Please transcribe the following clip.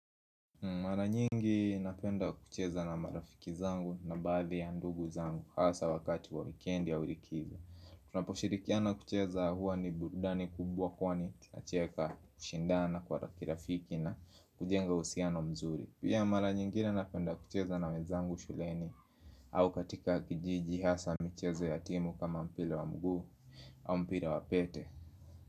Mara nyingi napenda kucheza na marafiki zangu na badhi ya ndugu zangu hasa wakati wa wikendi ya likizo Tunaposhirikiana kucheza huwa ni burudani kubwa kwa ni tunacheka kushindana kwa ki rafiki na kujenga uhusiano mzuri Pia mara nyingine napenda kucheza na wezangu shuleni au katika kijiji hasa michezo yatimu kama mpira wa mguu au mpire wa pete.